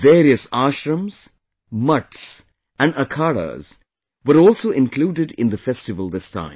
Various ashrams, mutths and akhadas were also included in the festival this time